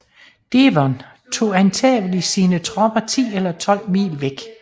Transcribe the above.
Devon tog angiveligt sine tropper ti eller tolv mil væk